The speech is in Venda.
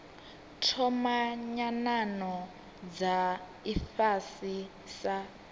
thoma nyanano dza ifhasi sa